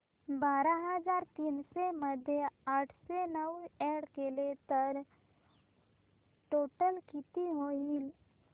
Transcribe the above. बारा हजार तीनशे मध्ये आठशे नऊ अॅड केले तर टोटल किती होईल